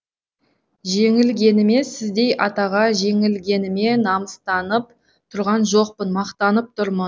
жеңілгеніме сіздей атаға жеңілгеніме намыстанып тұрған жоқпын мақтанып тұрмын